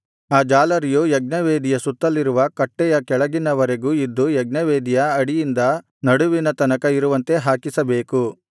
ಆ ಜಾಲರಿಯು ಯಜ್ಞವೇದಿಯ ಸುತ್ತಲಿರುವ ಕಟ್ಟೆಯ ಕೆಳಗಿನವರೆಗೆ ಇದ್ದು ಯಜ್ಞವೇದಿಯ ಅಡಿಯಿಂದ ನಡುವಿನ ತನಕ ಇರುವಂತೆ ಹಾಕಿಸಬೇಕು